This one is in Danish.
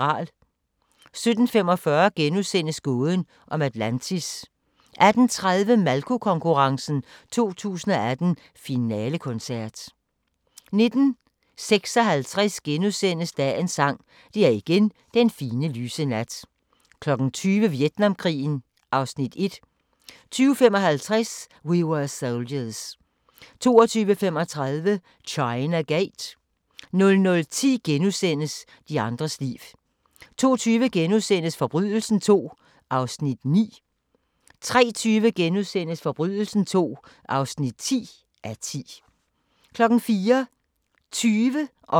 17:45: Gåden om Atlantis * 18:30: Malko-konkurrencen 2018 Finalekoncert 19:56: Dagens Sang: Det er igen den fine, lyse nat * 20:00: Vietnamkrigen (Afs. 1) 20:55: We Were Soldiers 22:35: China Gate 00:10: De andres liv * 02:20: Forbrydelsen II (9:10)* 03:20: Forbrydelsen II (10:10)* 04:20: Gæt og grimasser